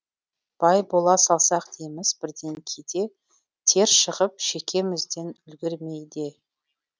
бай бола салсақ дейміз бірден кейде тер шығып шекемізден үлгермей де